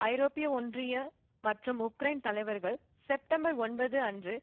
ஐரோப்பிய ஒன்றிய மற்றும் உக்ரைன் தலைவர்கள் செப்டம்பர் ஒன்பது அன்று